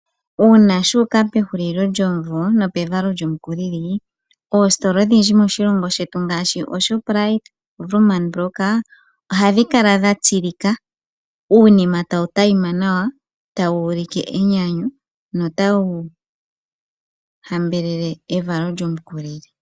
Uuna shu uka pehulilo lyomumvo nopevalo lyomu kulili ooaitola odhindji moshilongo shetu ngaashi Shoprite, woermann, ohadhi kala dha tsilika uunima tawu adhima nawa tawu ulike enyanyu notawu hambelele evalo lyomukulili.